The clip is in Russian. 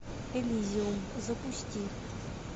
элизиум запусти